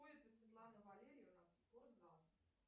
ходит ли светлана валерьевна в спортзал